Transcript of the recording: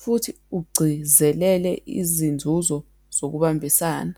futhi ugcizelele izinzuzo zokubambisana.